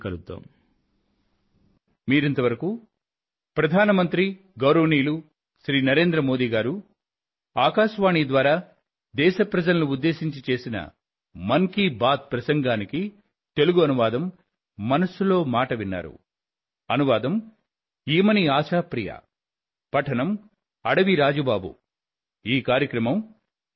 మళ్ళీ కలుద్దాం